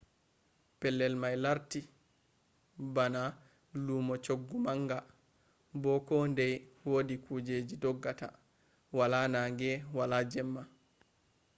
pellel mai lartti bana lumo chuggu manga bo ko ndei wodi kujeji doggata wala nange wala jemma